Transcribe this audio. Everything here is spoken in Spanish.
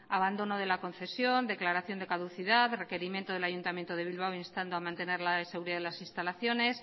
abandono de la concesión declaración de caducidad requerimiento del ayuntamiento de bilbao instando mantener el área de seguridad de las instalaciones